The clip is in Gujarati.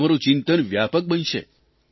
તમારૂં ચિંતન વ્યાપક બનશે